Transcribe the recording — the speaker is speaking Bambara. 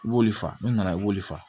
I b'olu fa n'u nana i b'olu faga